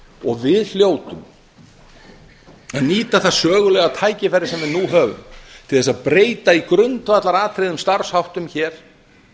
og við hljótum að nýta það sögulega tækifæri sem við nú höfum til að breyta í grundvallaratriðum starfsháttum hér